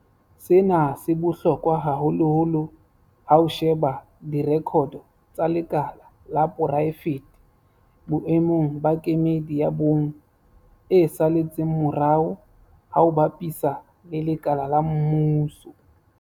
Sena se bohlokwa haholoholo ha o sheba direkoto tsa lekala la poraefete boemong ba kemedi ya bong e saletseng morao ha o bapisa le lekala la mmuso.